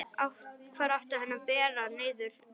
Hvar átti hann að bera niður næst?